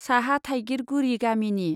साहा थाइगिरगुरी गामिनि।